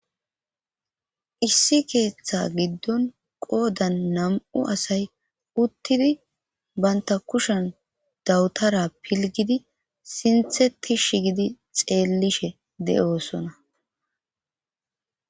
issi keeththa giddon qoodan nam7u asay uttidi baynta kushan dawutara pilgidi sintheti ixjeellishe de7osona